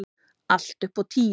Allt upp á tíu.